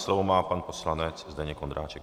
Slovo má pan poslanec Zdeněk Ondráček.